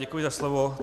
Děkuji za slovo.